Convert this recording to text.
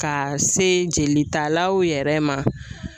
Ka se jelitalaw yɛrɛ ma